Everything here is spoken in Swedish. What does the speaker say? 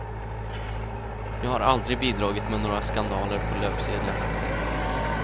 Jag har aldrig bidragit med några skandaler på löpsedlarna.